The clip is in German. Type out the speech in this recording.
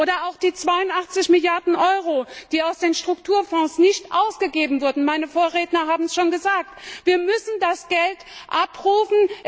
Oder auch die 82 Milliarden Euro, die aus den Strukturfonds nicht ausgegeben wurden meine Vorredner haben es schon gesagt Wir müssen das Geld abrufen.